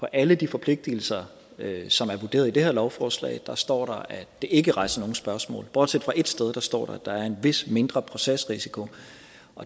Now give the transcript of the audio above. alle de forpligtigelser som er vurderet i det her lovforslag står der at det ikke rejser nogen spørgsmål bortset fra ét sted der står at der er en vis mindre procesrisiko